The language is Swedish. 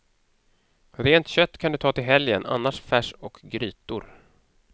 Rent kött kan du ta till helgen, annars färs och grytor.